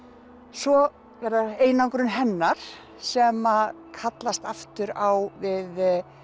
svo er það einangrun hennar sem kallast aftur á við